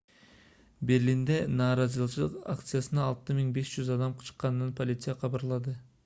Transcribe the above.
берлинде нааразычылык акциясына 6500 адам чыкканын полиция кабарлады